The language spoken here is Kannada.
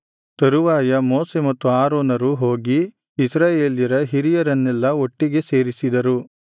ತರುವಾಯ ಮೋಶೆ ಮತ್ತು ಆರೋನರು ಹೋಗಿ ಇಸ್ರಾಯೇಲ್ಯರ ಹಿರಿಯರನ್ನೆಲ್ಲಾ ಒಟ್ಟಿಗೆ ಸೇರಿಸಿದರು